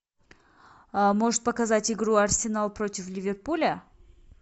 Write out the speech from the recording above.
можешь показать игру арсенал против ливерпуля